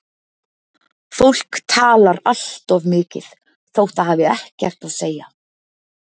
Fólk talar allt of mikið þótt það hafi ekkert að segja.